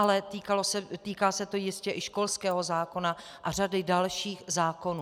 Ale týká se to jistě i školského zákona a řady dalších zákonů.